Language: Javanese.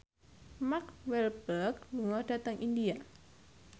Mark Walberg lunga dhateng India